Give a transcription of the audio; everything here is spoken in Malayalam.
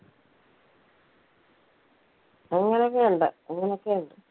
അങ്ങനെ ഒക്കെ ഉണ്ട് അങ്ങനെ ഒക്കെ ഉണ്ട്.